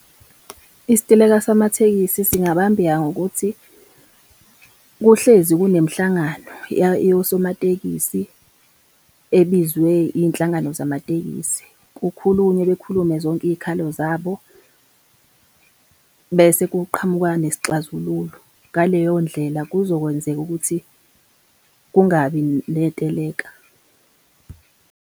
Isiteleka samathekisi singabambeka ngokuthi kuhlezi kunemihlangano yosomatekisi ebizwe iy'nhlangano zamatekisi, kukhulunywe bekhulume zonke iy'khalo zabo, bese kuqhamuka nesixazululo. Ngaleyo ndlela kuzokwenzeka ukuthi kungabi ney'teleka.